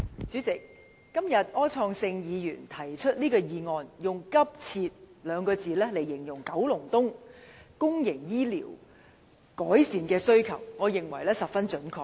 主席，今天柯創盛議員提出一項議案，用"急切"兩個字來形容九龍東公營醫療服務的改善，我認為十分準確。